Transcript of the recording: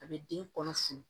A bɛ den kɔnɔ funu